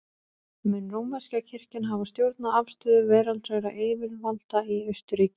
Mun rómverska kirkjan hafa stjórnað afstöðu veraldlegra yfirvalda í Austurríki í þeim efnum.